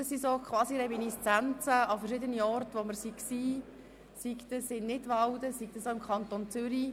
Dies sind quasi Reminiszenzen an verschiedene Kantonsparlamente, die wir besucht haben, beispielsweise Nidwalden oder auch im Kanton Zürich.